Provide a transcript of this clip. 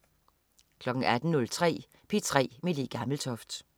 18.03 P3 med Le Gammeltoft